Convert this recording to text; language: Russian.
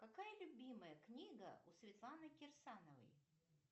какая любимая книга у светланы кирсановой